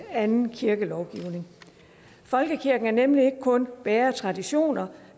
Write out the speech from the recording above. anden kirkelovgivning folkekirken er nemlig ikke kun bærer af traditioner